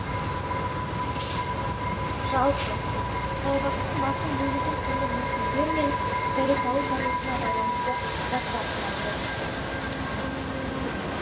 жалпы саябақтың басым бөлігін түрлі мүсіндер мен дәрет алу тарихына байланысты заттар құрайды